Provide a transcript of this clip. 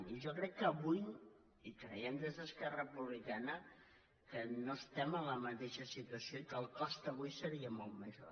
i jo crec que avui i creiem des d’esquerra republicana que no estem en la mateixa situació i que el cost avui seria molt major